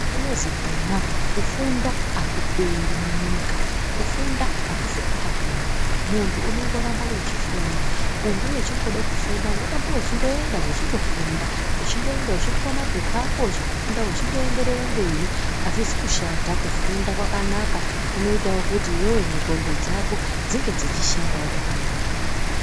Kunozi kona kufunda hakuperi munyika, kufunda hakufi kwakapera. Muntu unongoramba wechifunda, kunge wechingode kufunda unoramba wechindoenda wechindofunda. Wechindoenda wechipuwa mapepa ako wechindofunda wechindoenderere mberi. Hazvizi kushata, kufunda kwakanaka, kunoitawo kuti iwewo ndxondo dzako dzinge dzichishandawo zvakanaka.